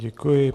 Děkuji.